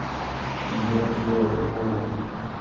Entendeu? Que eu eu